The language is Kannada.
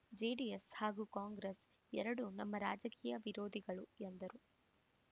ಜೆಡಿಎಸ್‌ ಹಾಗೂ ಕಾಂಗ್ರೆಸ್‌ ಎರಡೂ ನಮ್ಮ ರಾಜಕೀಯ ವಿರೋಧಿಗಳು